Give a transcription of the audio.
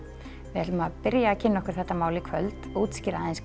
við ætlum að kynna okkur þetta mál í kvöld útskýra